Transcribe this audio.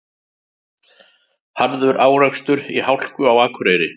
Harður árekstur í hálku á Akureyri